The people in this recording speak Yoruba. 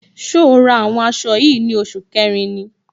So ra àwọn aṣọ yìí ní oṣù kẹrin ni?